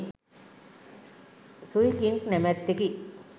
Sui King නමැත්තෙකි.